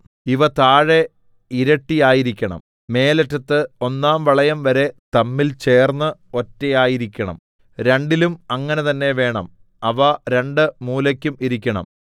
ഇവ താഴെ ഇരട്ടിയായിരിക്കണം മേലറ്റത്ത് ഒന്നാം വളയംവരെ തമ്മിൽ ചേർന്ന് ഒറ്റയായിരിക്കണം രണ്ടിലും അങ്ങനെ തന്നെ വേണം അവ രണ്ട് മൂലയ്ക്കും ഇരിക്കണം